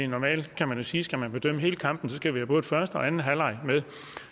normalt kan man sige skal bedømme hele kampen skal vi have både første og anden halvleg med